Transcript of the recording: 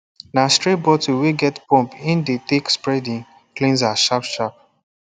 na spray bottle wey get pump im de take spread im cleanser sharp sharp